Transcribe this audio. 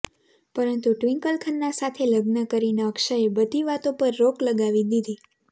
પરંતુ ટ્વિંકલ ખન્ના સાથે લગ્ન કરીને અક્ષયે બધી વાતો પર રોક લગાવી દીધી